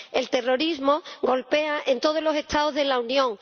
El terrorismo golpea en todos los Estados de la Unión.